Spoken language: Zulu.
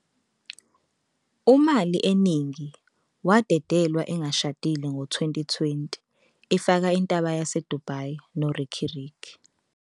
"UMali Eningi "wadedelwa engashadile ngo-2020 efaka i-Intaba Yase Dubai noRicky Rick